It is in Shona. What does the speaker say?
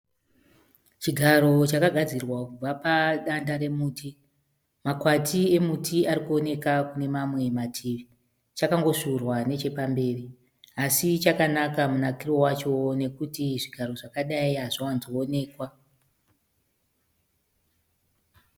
Chigaro chakagadzirwa kubva padanda remuti Makwati emuti arikuoneka kune mamwe mativi chakambovhurwa nechepamberi. Asi chakanaka munakiro vacho nekuti zvigaro zvakadai hazvivanzooneka